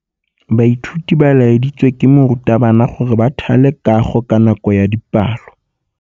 Baithuti ba laeditswe ke morutabana gore ba thale kagô ka nako ya dipalô.